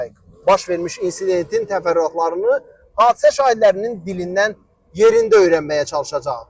Baş vermiş insidentin təfərrüatlarını hadisə şahidlərinin dilindən yerində öyrənməyə çalışacağıq.